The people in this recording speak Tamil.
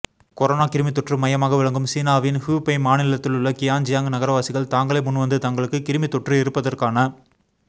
கொரோனா கிருமித்தொற்று மையமாக விளங்கும் சீனாவின் ஹுபெய் மாநிலத்திலுள்ள கியான்ஜியாங் நகரவாசிகள் தாங்களே முன்வந்து தங்களுக்கு கிருமித்தொற்று இருப்பதற்கான